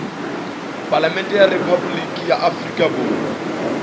palamente ya rephaboliki ya afrika